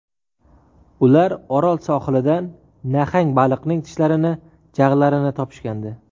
Ular Orol sohilidan nahang baliqning tishlarini, jag‘larini topishgandi.